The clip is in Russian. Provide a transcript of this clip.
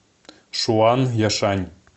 шуанъяшань